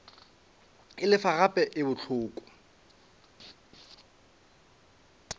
e lefa gape e bohloko